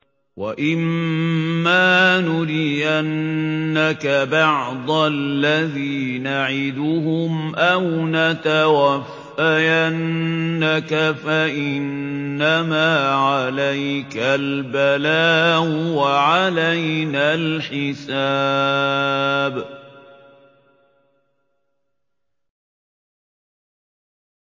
وَإِن مَّا نُرِيَنَّكَ بَعْضَ الَّذِي نَعِدُهُمْ أَوْ نَتَوَفَّيَنَّكَ فَإِنَّمَا عَلَيْكَ الْبَلَاغُ وَعَلَيْنَا الْحِسَابُ